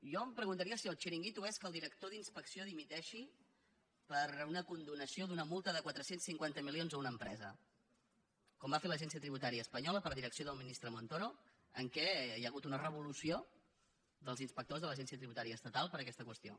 jo em preguntaria si el xiringuito és que el director d’inspecció dimiteixi per una con·donació d’una multa de quatre cents i cinquanta milions a una empresa com va fer l’agència tributària espanyola per direc·ció del ministre montoro en què hi ha hagut una re·volució dels inspectors de l’agència tributària estatal per aquesta qüestió